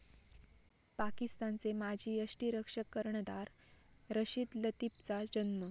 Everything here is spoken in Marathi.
पाकिस्तानचे माजी यष्टिरक्षक, कर्णधार रशीद लतिफचा जन्म.